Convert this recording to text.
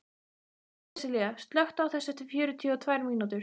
Sessilía, slökktu á þessu eftir fjörutíu og tvær mínútur.